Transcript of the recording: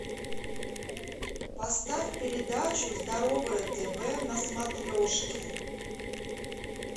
поставь передачу здоровое тв на смотрешке